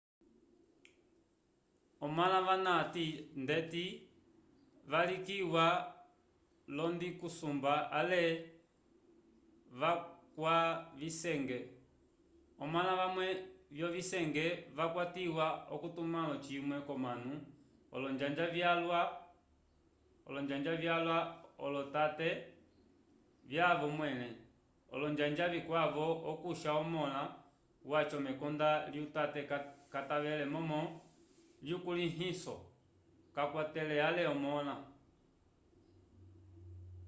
omãla ava ndeti vavilikiwa olondingusumba” ale vakwavisenge. omãla vamwe vyovisenge vakwatiwa k’ocitumãlo cimwe k’omanu olonjanja vyala olotate vyavo mwẽle ; olonjanja vikwavo okusha omõla waco mekonda lyatate katavele momo lyukulĩhiso kakwatele ale omõla